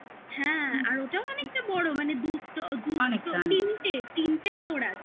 হ্যাঁ আর ওটাও অনেকটা বড় মানে তিনটে floor আছে